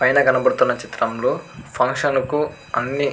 పైన కనపడుతున్న చిత్రంలో ఫంక్షన్ కు అన్ని --